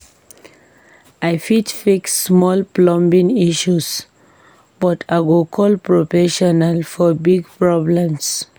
I fit fix small plumbing issues, but I go call professional for big problems.